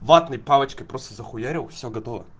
ватные палочки просто захуярил всё готова